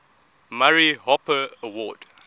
murray hopper award